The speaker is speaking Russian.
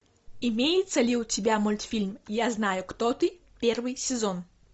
имеется ли у тебя мультфильм я знаю кто ты первый сезон